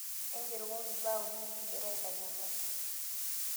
ingerokoki mbaa uni nikigira aitanyamal.